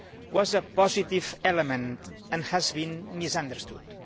was a positive element and has been misunderstood.